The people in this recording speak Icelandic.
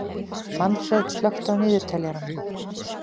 Manfreð, slökktu á niðurteljaranum.